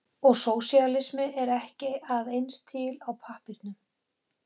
Og sósíalisminn er ekki að eins til á pappírnum.